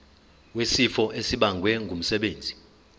wesifo esibagwe ngumsebenzi